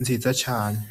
nziza cane .